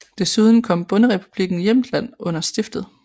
Desuden kom bonderepublikken Jæmtland under stiftet